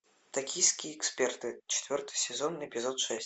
токийские эксперты четвертый сезон эпизод шесть